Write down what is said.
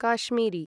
Kashmiri